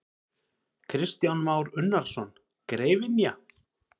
Kristján Már Unnarsson: Greifynja?